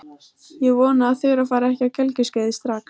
Ég vona að Þura fari ekki á gelgjuskeiðið strax.